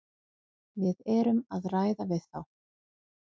Við erum að ræða við þá.